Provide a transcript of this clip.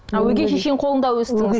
а өгей шешенің қолында өстіңіз